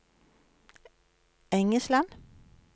Engesland